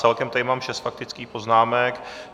Celkem tady mám šest faktických poznámek.